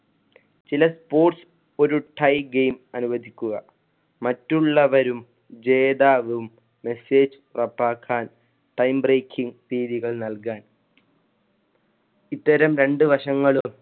ചില sports ഒരു tie game അനുവദിക്കുക. മറ്റുള്ളവരും ജേതാവും message പ്രപാകാൻ time breaking തിയ്യതികൾ നൽകാൻ ഇത്തരം രണ്ട് വശങ്ങളും